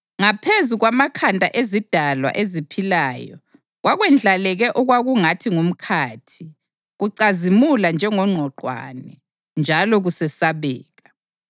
Ngaphezu kwamakhanda ezidalwa eziphilayo kwakwendlaleke okwakungathi ngumkhathi, kucazimula njengongqwaqwane, njalo kusesabeka.